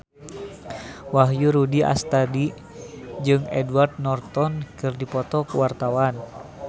Wahyu Rudi Astadi jeung Edward Norton keur dipoto ku wartawan